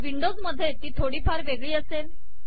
Windows मधे ती थोडीफार वेगळी असेल